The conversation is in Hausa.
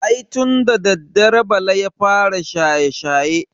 Ai tun da dadewa bala ya fara shaye-shaye.